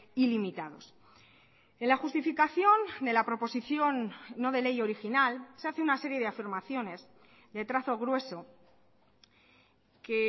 ilimitados en la justificación de la proposición no de ley original se hace una serie de afirmaciones de trazo grueso que